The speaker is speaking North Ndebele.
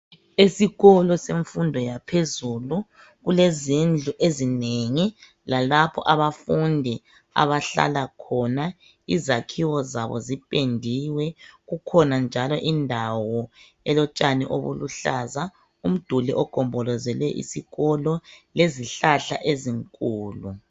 Esikolo semfundo yaphezulu kulezindlu ezinengi lalapho abafundi abahlala khona. Izakhiwo zabo zipendiwe, kukhona njalo indawo elotshani obuluhlaza, umduli ogombolozele isikolo lezihlahla ezinkulu.